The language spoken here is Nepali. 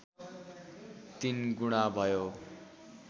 तीन गुणा भयो